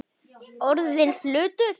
Orðinn hlutur.